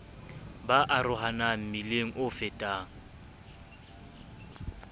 ba arohana mmileng o fetang